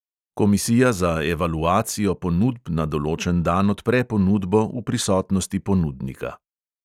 Komisija za evaluacijo ponudb na določen dan odpre ponudbo v prisotnosti ponudnika.